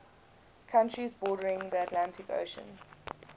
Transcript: countries bordering the atlantic ocean